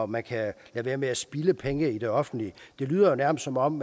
man kan lade være med at spilde penge i det offentlige det lyder jo nærmest som om